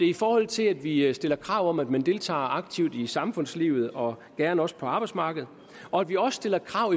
i forhold til at vi stiller krav om at man deltager aktivt i samfundslivet og gerne også på arbejdsmarkedet og at vi også stiller krav